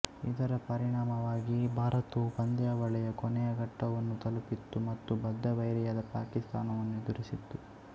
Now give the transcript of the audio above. ಇದರ ಪರಿಣಾಮವಾಗಿ ಭಾರತವು ಪಂದ್ಯಾವಳಿಯ ಕೊನೆಯ ಘಟ್ಟವನ್ನು ತಲುಪಿತ್ತು ಮತ್ತು ಬದ್ಧ ವೈರಿಯಾದ ಪಾಕಿಸ್ತಾನವನ್ನು ಎದುರಿಸಿತ್ತು